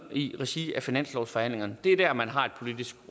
i regi af finanslovsforhandlingerne det er der man har et politisk